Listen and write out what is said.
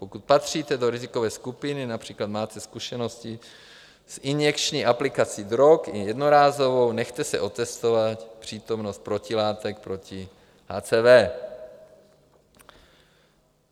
Pokud patříte do rizikové skupiny, například máte zkušenosti s injekční aplikací drog, i jednorázovou, nechte si otestovat přítomnost protilátek proti HCV.